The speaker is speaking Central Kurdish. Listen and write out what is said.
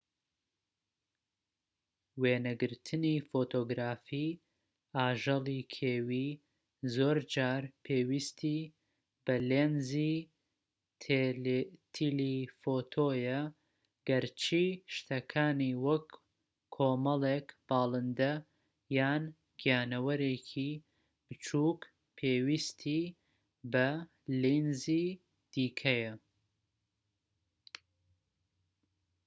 وێنەگرتنی فۆتۆگرافی ئاژەڵی کێوی زۆرجار پێویستی بە لێنزی تیلیفۆتۆیە گەرچی شتەکانی وەک کۆمەڵێک باڵندە یان گیانەوەرێکی بچووک پێویستی بە لێنزی دیکەیە